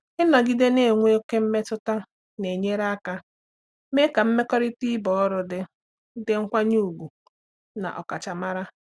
Ịnọgide na-enwe ókè mmetụta na-enyere aka mee ka mmekọrịta ebe ọrụ dị dị nkwanye ùgwù na ọkachamara.